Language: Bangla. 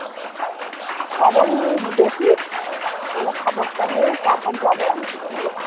খবর নিয়ে দেখিস তোরা খবরটা নে তারপর যাবো একদিন হম